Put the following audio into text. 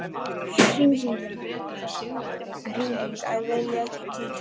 Hringing: Æi viljiði ekki kíkja?